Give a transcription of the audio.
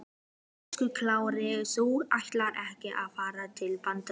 Höskuldur Kári: Þú ætlar ekki að fara til Bandaríkjanna?